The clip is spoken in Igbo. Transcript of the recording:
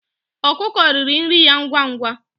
Ọkụkụ riri nri ya ngwa ngwa.